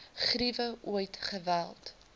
griewe ooit geweld